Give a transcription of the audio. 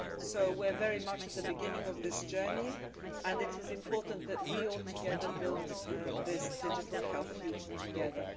So we're very much at the beginning of this journey, and it is important that we all build this digital health future together.